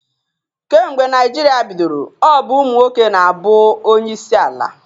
Kemgbe Naịjirịa bidoro, ọ bụ ụmụ nwoke na-abụ onyeisi ala.